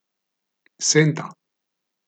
Senta!